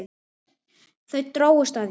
Þau drógust að þér.